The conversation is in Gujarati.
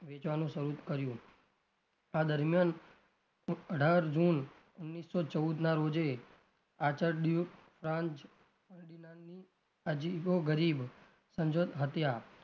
વેચવાનું શરુ કર્યું આ દરમિયાન અઢાર જુન ઓગણીસો ચૌદ ના રોજે અજીબો ગરીબ